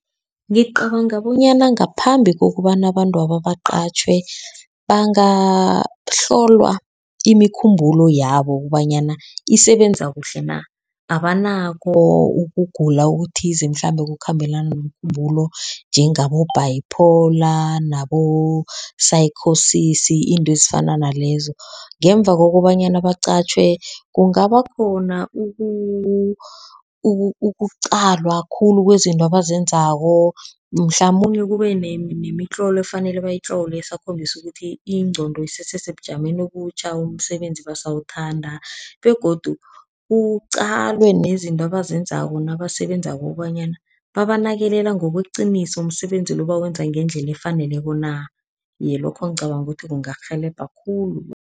Ngicabanga bonyana ngaphambi kokobana abantwaba baqatjhwe, bangahlolwa imikhumbulo yabo kobanyana isebenza kuhle na. Ababonakho ukugula okuthize mhlambe okukhambelana nomkhumbulo, njengabo-bipolar, nabo-psychosis, izinto ezifana nalezo. Ngemva kokobanyana baqatjhwe, kungaba khona ukuqalwa khulu kwezinto abazenzako, mhlamunye kube nemitlolo efanele bayitlole esakhombisa ukuthi ingqondo isese sebujameni obutjha, umsebenzi basawuthanda. Begodu kuqalwe nezinto abazenzako nabasebenzako ukobanyana banakelela ngokweqiniso, umsebenzi lo bawenza ngendlela efaneleko na. Iye, lokho ngicabanga ukuthi kungarhelebha khulu.